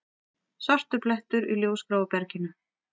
Svartur blettur í ljósgráu berginu.